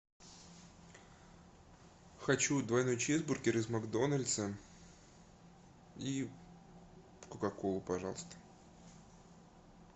хочу двойной чизбургер из макдональдса и кока колу пожалуйста